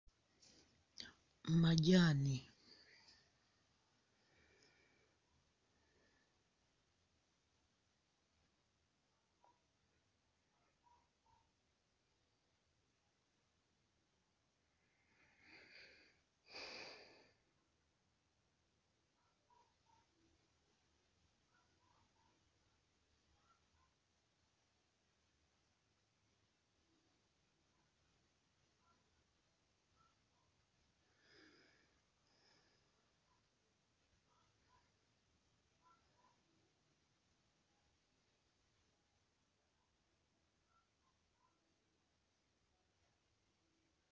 Mumajaani.........